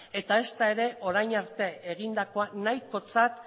eta ezta orain arte egindakoa nahikotzat